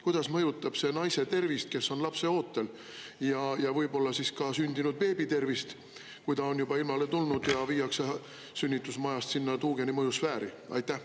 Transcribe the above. Kuidas mõjutab see naise tervist, kes on lapseootel, ja võib-olla ka sündinud beebi tervist, kui ta on juba ilmale tulnud ja viiakse sünnitusmajast sinna tuugeni mõjusfääri?